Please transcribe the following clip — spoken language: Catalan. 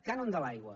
cànon de l’aigua